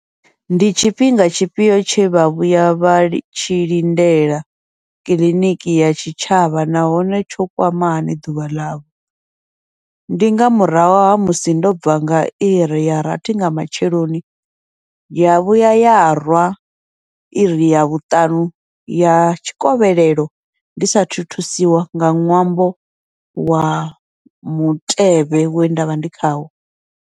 Ndi tshifhinga tshifhio tshe vha vhuya vhatshi lindela kiḽiniki ya tshi tshavha, nahone tsho kwamani ḓuvha ḽavho, ndi nga murahu ha musi ndo bva nga iri ya rathi nga matsheloni, ya vhuya yarwa iri ya vhuṱanu ya tshikovhelelo ndi sathu thusiwa nga ṅwambo wa mutevhe we ndavha ndi khawo.